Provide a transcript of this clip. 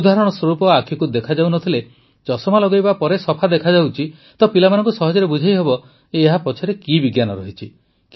ଉଦାହରଣ ସ୍ୱରୂପ ଆଖିକୁ ଦେଖାଯାଉ ନ ଥିଲେ ଚଷମା ଲଗାଇବା ପରେ ସଫା ଦେଖାଯାଉଛି ତ ପିଲାଙ୍କୁ ସହଜରେ ବୁଝାଇହେବ ଯେ ଏହା ପଛରେ କି ବିଜ୍ଞାନ ରହିଛି